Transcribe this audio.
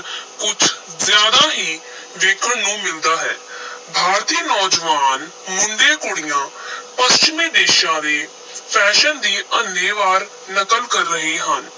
ਕੁਝ ਜ਼ਿਆਦਾ ਹੀ ਵੇਖਣ ਨੂੰ ਮਿਲਦਾ ਹੈ ਭਾਰਤੀ ਨੌਜਵਾਨ ਮੁੰਡੇ-ਕੁੜੀਆਂ ਪੱਛਮੀ ਦੇਸਾਂ ਦੇ fashion ਦੀ ਅੰਨ੍ਹੇ-ਵਾਹ ਨਕਲ ਕਰ ਰਹੇ ਹਨ।